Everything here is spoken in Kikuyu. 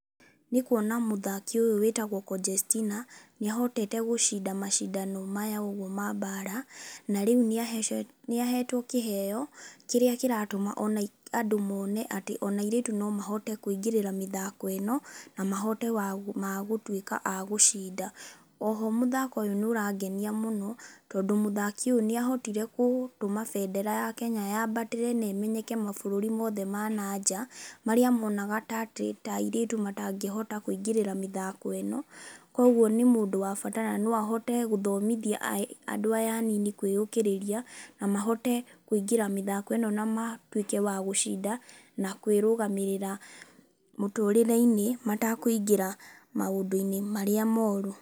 Nĩ kuona mũthaki ũyũ wĩtagwo Conjestina, nĩ ahotete gũcinda macindano maya ũguo ma mbaara. Na rĩu nĩ nĩ aheetwo kĩheeo, kĩrĩa kĩratũma ona andũ mone atĩ ona airĩtu no mahote kũingĩrĩra mĩthako ĩno, na mahote wa ma gũtuĩka a gũcinda. Oho mũthako ũyũ nĩ ũrangenia mũno, tondũ mũthaki ũyũ nĩ ahotire gũtũma bendera ya Kenya yambatĩre na ĩmenyeke mabũrũri mothe ma na nja, marĩa monaga ta atĩ ta airĩtu matangĩhota kũingĩrĩra mĩthako ĩno. Kũguo nĩ mũndũ wa bata, na no ahote gũthomithia andũ aya anini kwĩyũkĩrĩria, na mahote kũingĩra mĩthako ĩno na matuĩke wa gũcinda, na kwĩrũgamĩrĩra mũtũrĩre-inĩ, matakũingĩra maũndũ-inĩ marĩa moru.